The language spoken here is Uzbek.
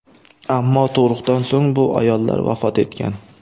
Ammo tug‘ruqdan so‘ng bu ayollar vafot etgan.